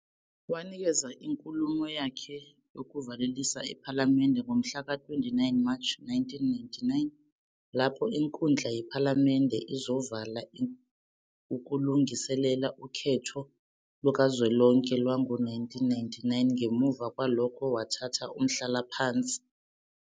Wanikeza inkulumo yakhe yokuvalelisa ePhalamende ngomhla ka 29 March 1999, lapho inkundla yephalamende izovala ukulungiselela ukhetho lukazwelonke lwango 1999, ngemuva kwalokho wathatha umhlalaphansi.